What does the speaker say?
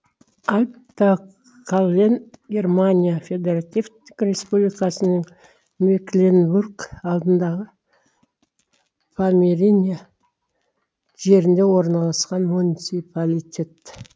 аль та кален германия федеративтік республикасының мекленбург алдындағы помериния жерінде орналасқан муниципалитет